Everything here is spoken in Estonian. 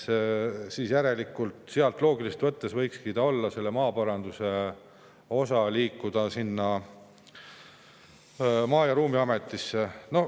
Järelikult võikski see maaparanduse osa loogiliselt võttes sealt liikuda Maa‑ ja Ruumiametisse.